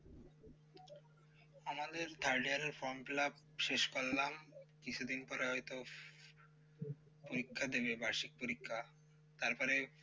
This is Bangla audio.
আমাদের third year এর form fill up শেষ করলাম কিছুদিন পরে হয়তো পরীক্ষা দেবে বার্ষিক পরীক্ষা তারপরে